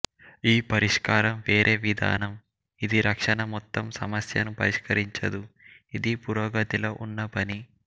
ఈ పరిష్కారం వేరే విధానం ఇది రక్షణ మొత్తం సమస్యను పరిష్కరించదు ఇది పురోగతిలో ఉన్న పని